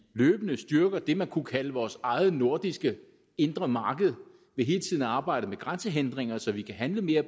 løbende styrker det man kunne kalde vores eget nordiske indre marked ved hele tiden at arbejde med grænsehindringer så vi kan handle mere